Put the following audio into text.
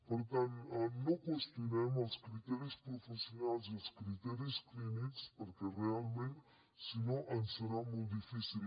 per tant no qüestionem els criteris professionals i els criteris clínics perquè realment si no ens serà molt difícil